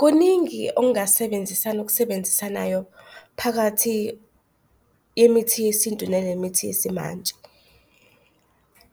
Kuningi ongasebenzisana ukusebenzisanayo phakathi yemithi yesintu nanemithi yesimanje.